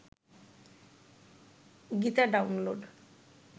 Gita download